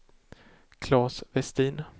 Claes Vestin